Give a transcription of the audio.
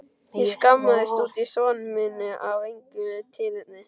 Ég skammaðist út í son minn af engu tilefni.